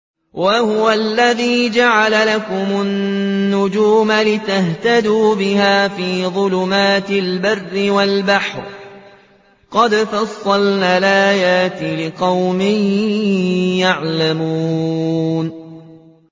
وَهُوَ الَّذِي جَعَلَ لَكُمُ النُّجُومَ لِتَهْتَدُوا بِهَا فِي ظُلُمَاتِ الْبَرِّ وَالْبَحْرِ ۗ قَدْ فَصَّلْنَا الْآيَاتِ لِقَوْمٍ يَعْلَمُونَ